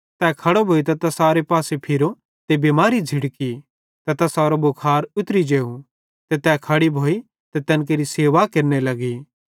तै खड़ो भोइतां तैसारे पासे फिरो ते बिमारी झ़िड़की ते तैसारो सारो भुखार उतरी जेव ते तै खड़ी भोइ ते तैन केरि सेवा केरने लगी